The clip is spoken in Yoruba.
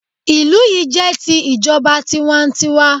Ìlú yi jẹ́ ti ìjọba tiwa n tiwa